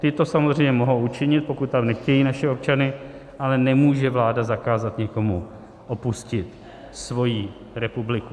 Ty to samozřejmě mohou učinit, pokud tam nechtějí naše občany, ale nemůže vláda zakázat nikomu opustit svoji republiku.